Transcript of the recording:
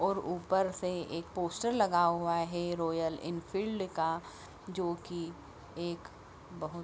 और ऊपर से एक पोस्टर लगा हुआ है रॉयल एनफील्ड का जो की एक बहो --